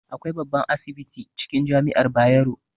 Akwai babban asibiti cikin jami'ar Bayero